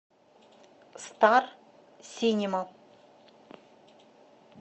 стар синема